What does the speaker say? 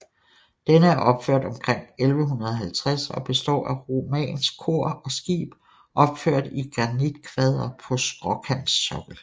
Den er opført omkring 1150 og består af romansk kor og skib opført i granitkvadre på skråkantsokkel